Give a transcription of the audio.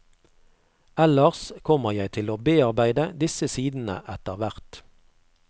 Ellers kommer jeg til å bearbeide disse sidene etter hvert.